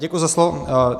Děkuji za slovo.